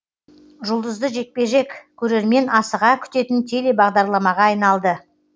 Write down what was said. жұлдызды жекпе жек көрермен асыға күтетін телебағдарламаға айналды